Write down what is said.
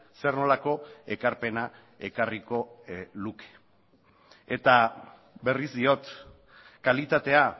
zer nolako ekarpena ekarriko luke eta berriz diot kalitatea